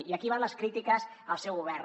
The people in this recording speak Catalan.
i aquí van les crítiques al seu govern